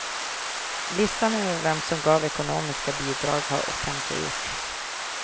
Listan över vem som gav ekonomiska bidrag har offentliggjorts.